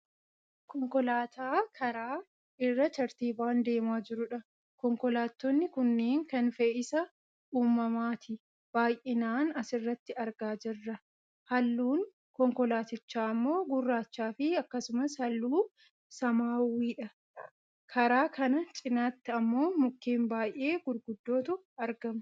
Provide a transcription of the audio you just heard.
Konkolaataa karaa irra tartiibaan deemaa jirudha. Konkolaattonni kunneen kan fe'isa uummataati. Baayyinaan asirratti argaa jirra .halluun konkolaattichaa ammoo gurraachaafi akkasumas halluu samaawwiidha. Karaa kana cinaatti ammoo mukeen baayyee gurguddootu argamu.